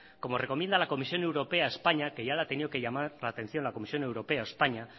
como recomienda la comisión europea a españa que ya le ha tenido que llamar la atención la comisión europea a españa